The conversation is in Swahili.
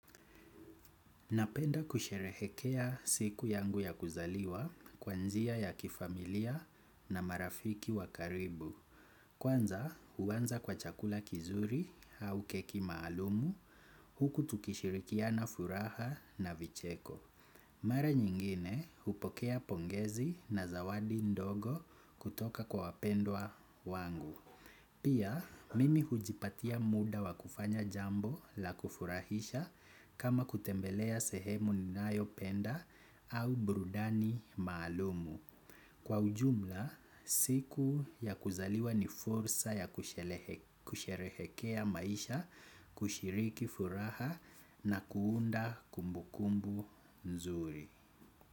Napenda kusherehekea siku yangu ya kuzaliwa kwa njia ya kifamilia na marafiki wa karibu. Kwanza huwanza kwa chakula kizuri au keki maalumu huku tukishirikiana furaha na vicheko. Mara nyingine hupokea pongezi na zawadi ndogo kutoka kwa wapendwa wangu. Pia, mimi hujipatia muda wa kufanya jambo la kufurahisha kama kutembelea sehemu ninayopenda au burudani maalumu. Kwa ujumla, siku ya kuzaliwa ni fursa ya kusherehekea maisha, kushiriki furaha na kuunda kumbukumbu nzuri.